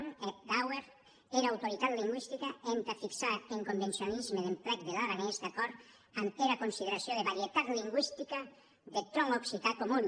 e a d’auer era autoritat lingüistica entà fixar es convencionalismes d’emplec der aranés d’acòrd damb era consideracion de varietat lingüistica deth tronc occitan comun